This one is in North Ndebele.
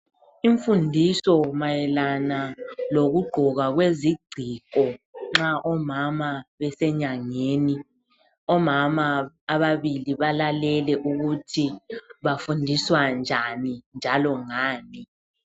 Imfundiso mayelana lokugqoka kwezigciko nxa omama besenyangeni. Omama ababili balalele ukuthi bafundiswa njani njalo ngani.